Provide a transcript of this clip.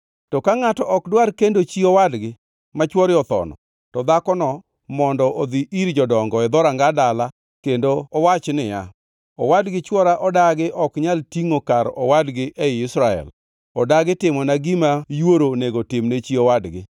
To ka ngʼato ok dwar kendo chi owadgi ma chwore othono, to dhakono mondo odhi ir jodongo e dhoranga dala kendo owach niya, “Owadgi chwora odagi ok onyal tingʼo kar owadgi ei Israel, odagi timona gima yuoro onego timne chi owadgi.”